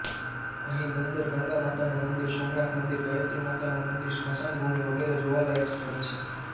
અહીં બંદર ગંગામાતાનું મંદિર સોમનાથ મંદિર ગાયત્રી માતાનું મંદિર સ્મશાન ભૂમિ વગેરે જોવાલાયક સ્થળો છે